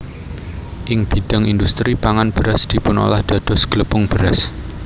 Ing bidhang indhustri pangan beras dipunolah dados glepung beras